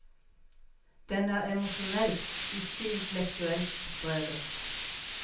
Den er emosjonelt, ikke intellektuelt drevet.